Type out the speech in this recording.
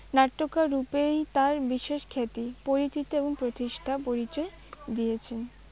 নাট্যকার রূপেই তার বিশেষ খ্যাতি পরিচিতি এবং প্রতিষ্ঠার পরিচয় দিয়েছেন।